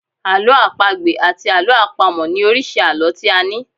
Àlọ́ àpagbè àti àlọ́ àpamọ̀ ni oríṣi àlọ́ tí a ní.